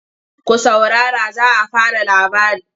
Ku saurara za a fara labari!